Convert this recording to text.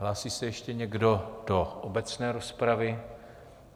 Hlásí se ještě někdo do obecné rozpravy?